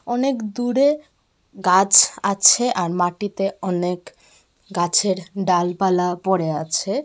অনেক দূরে গাছ আছে আর মাটিতে অনেক গাছের ডালপালা পড়ে আছে.